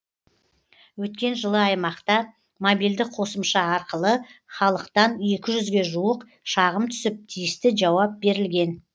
өткен жылы аймақта мобильді қосымша арқылы халықтан екі жүзге жуық шағым түсіп тиісті жауап берілген